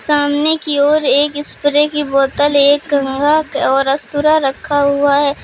सामने की ओर एक स्प्रे की बोतल एक कंघा और अस्तुरा रखा हुआ है।